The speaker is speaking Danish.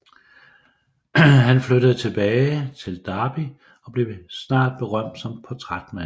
Han flyttede tilbage til Derby og blev snart berømt som portrætmaler